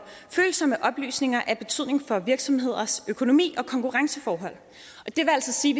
følsomme oplysninger af betydning for virksomheders økonomi og konkurrenceforhold det vil altså sige